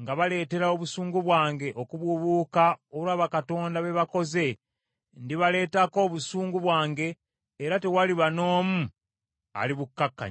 nga baleetera obusungu bwange okubuubuuka olwa bakatonda be bakoze, ndibaleetako obusungu bwange era tewaliba n’omu alibukkakkanya.’